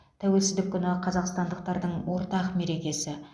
тәуелсіздік күні қазақстандықтардың ортақ мерекесі